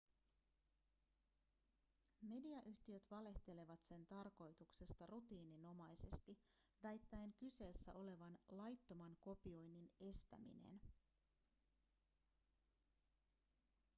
mediayhtiöt valehtelevat sen tarkoituksesta rutiininomaisesti väittäen kyseessä olevan laittoman kopioinnin estäminen